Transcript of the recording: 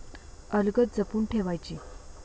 अलगद जपून ठेवायची!